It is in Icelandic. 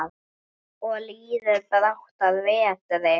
Og líður brátt að vetri.